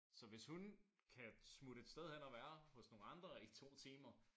Så hvis hun kan smutte et sted hen og være hos nogen andre i 2 timer